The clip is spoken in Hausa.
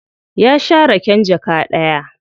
Ya sha raken jaka ɗaya.